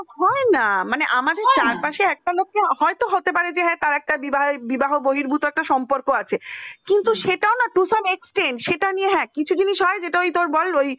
হয় না, মানে আমাদের চারপাশে একটা লোককে হয়তো হতে পারে একটা বহির্গত একটা সম্পর্ক আছে কিন্তু সেটাও না to some extend সেটা নিয়ে কিছু জিনিস হয় তোর বল ওই